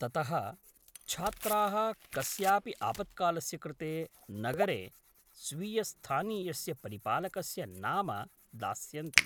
ततः, छात्राः कस्यापि आपत्कालस्य कृते नगरे स्वीयस्थानीयस्य परिपालकस्य नाम दास्यन्ति।